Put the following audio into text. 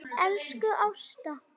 Elsku Ásta.